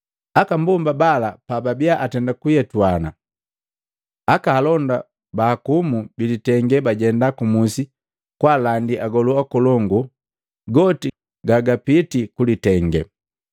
Aka mbomba bala pababia atenda kuyetuana, aka alonda baakumu bilitenge bajenda ku musi kwaalandi agolu akolongu goti gagapitii kulitenge.